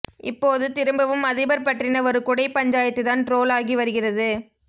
இப்போது திரும்பவும் அதிபர் பற்றின ஒரு குடை பஞ்சாயத்துதான் ட்ரோல் ஆகி வருகிறது